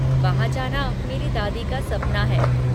वहाँ जाना मेरी दादी का सपना है।